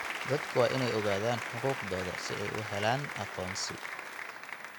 Dadku waa inay ogaadaan xuquuqdooda si ay u helaan aqoonsi.